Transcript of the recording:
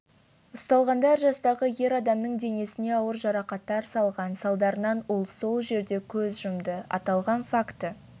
ұсталғандар жастағы ер адамның денесіне ауыр жарақаттар салған салдарынан ол сол жерде көз жұмды аталған факті